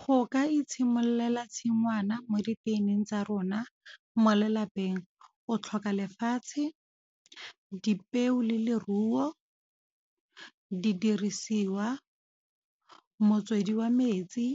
Go ka itshimololela tshingwana mo diteining tsa rona mo lelapeng. O tlhoka lefatshe, dipeo le leruo, di dirisiwa motswedi wa metsi,